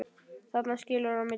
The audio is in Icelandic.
Þarna skilur á milli.